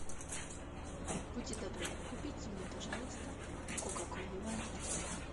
будьте добры купите мне пожалуйста кока колу лайт